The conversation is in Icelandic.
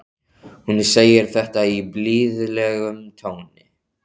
Hún segir þetta í blíðlegum tóni.